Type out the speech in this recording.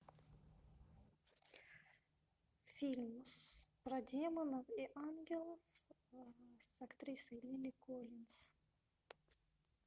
фильм про демонов и ангелов с актрисой лили коллинз